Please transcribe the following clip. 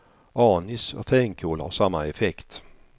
Anis och fänkål har samma effekt.